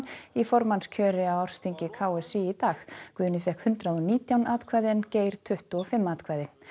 í formannskjöri á ársþingi k s í í dag Guðni fékk hundrað og nítján atkvæði en Geir tuttugu og fimm atkvæði